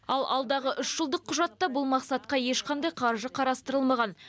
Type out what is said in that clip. ал алдағы үш жылдық құжатта бұл мақсатқа ешқандай қаржы қарастырылмаған